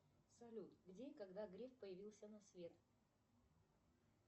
салют где и когда греф появился на свет